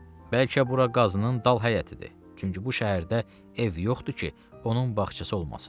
Bəlkə bura Qazının dal həyətidir, çünki bu şəhərdə ev yoxdur ki, onun bağçası olmasın.